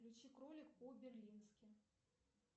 включи кролик по берлински